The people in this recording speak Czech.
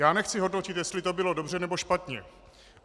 Já nechci hodnotit, jestli to bylo dobře, nebo špatně.